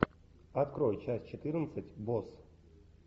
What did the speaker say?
открой часть четырнадцать босс